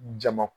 Jama